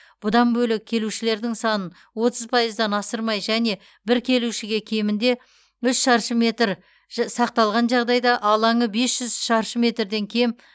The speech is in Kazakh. бұдан бөлек келушілердің санын отыз пайыздан асырмай және бір келушіге кемінде үш шаршы метр сақталған жағдайда алаңы бес жүз шаршы метрден кем